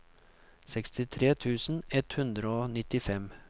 sekstitre tusen ett hundre og nittifem